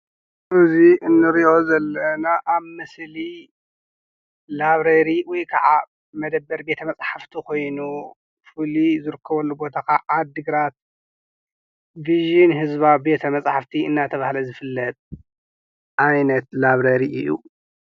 እዚ ንርኦ ዘለና ኣብ ምስሊ ላይብረሪ ወይ ከዓ መደብር ቤተ መፃሓፍቲ ኮይኑ ፍሉይ ዝርከበሉ ቦታ ከዓ ዓዲ ግራት ቪዠን ህዝባዊ ቤት መፃሕፍቲ እናተበሃለ ዝፍለጥ ዓይነት ላብረሪ እዩ።